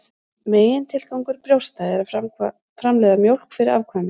Megintilgangur brjósta er að framleiða mjólk fyrir afkvæmi.